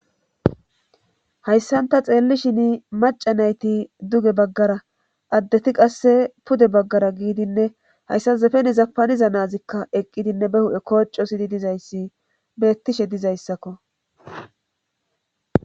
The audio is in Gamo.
Hayssanta xeellishin maca nayti duge baggara addeti qasse pude baggara giidinne hayssa zefene zapaniza naazikka eqqidinne be hu'e kooco sidi dizayssi beettishe dizayssakko.